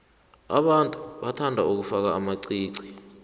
abantu bathanda ukufaka amaqiqi